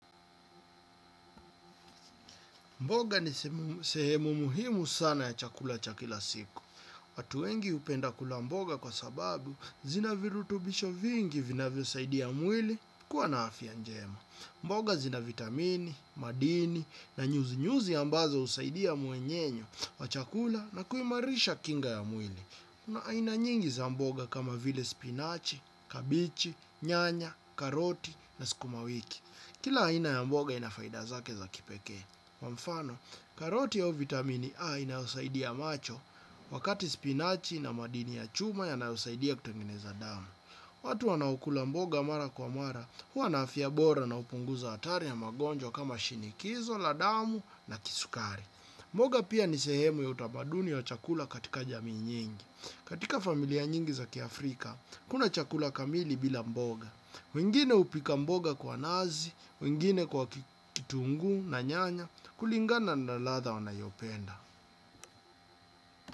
Mboga ni sehemu muhimu sana ya chakula chakila siku. Watu wengi hupenda kula mboga kwa sababu zina virutubisho vingi vina vya saidia mwili kuwa na afya njema. Mboga zina vitamini, madini na nyuzi nyuzi ambazo usaidia muenyenyo wa chakula na kuimarisha kinga ya mwili. Kuna aina nyingi za mboga kama vile spinach, cabbage, nyanya, karoti na skumawiki. Kila aina ya mboga inafaidazake za kipekee. Kwa mfano, karoti au vitamini A inausaidia macho, wakati spinachi na madini ya chuma ya nausaidia kutengeneza damu. Watu wana okula mboga mara kwa mara, hua na afya bora na upunguza hatari ya magonjwa kama shinikizo, ladamu na kisukari. Mboga pia nisehemu ya utabaduni ya chakula katika jamii nyingi. Katika familia nyingi za kiafrika, hakuna chakula kamili bila mboga. Wengine upika mboga kwa nazi, wengine kwa kitunguu na nyanya, kulingana na latha wanayopenda.